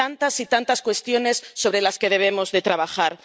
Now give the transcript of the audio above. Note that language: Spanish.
tantas y tantas cuestiones en las que debemos trabajar.